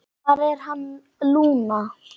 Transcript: Hvar er hann, Lúna?